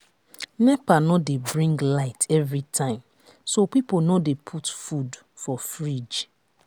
nepa no dey bring light everytime so people no dey put food for fridge